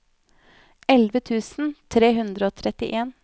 elleve tusen tre hundre og trettien